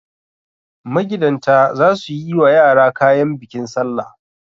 Magidanta za su yi wa yara kayan bikin salla.